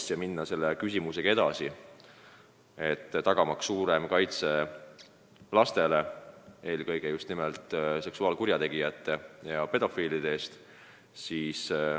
Me soovime minna selle teemaga edasi, tagamaks lastele parem kaitse eelkõige just nimelt pedofiilide ja teiste seksuaalkurjategijate eest.